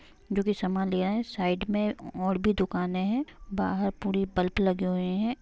जो की समान लिया है| साइड मे और भी दुकाने है| बाहर पूरी पल्प लगे हुए है ।